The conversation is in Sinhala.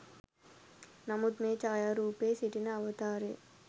නමුත් මේ ඡායාරූපයේ සිටින අවතාරය